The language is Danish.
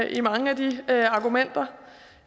i mange af de argumenter